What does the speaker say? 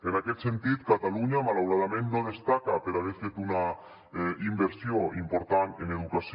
en aquest sentit catalunya malauradament no destaca per haver fet una inversió important en educació